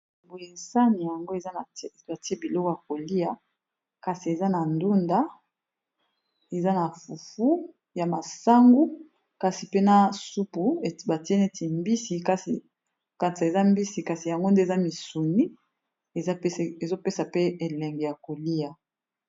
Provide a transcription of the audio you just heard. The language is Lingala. Boye sani yango batie biloko ya kolia kasi eza na ndunda ,eza na fufu ya masangu kasi pena supu batie neti mbisi nakati eza mbisi kasi yango nde eza misuni ezopesa pe elenge ya kolia.